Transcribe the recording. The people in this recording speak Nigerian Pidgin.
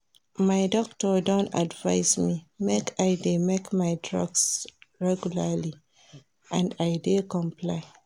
My doctor don advice me make I dey take my drugs regularly and I dey comply